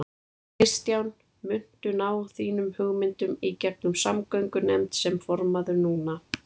Kristján: Muntu ná þínum hugmyndum í gegnum samgöngunefnd sem formaður núna?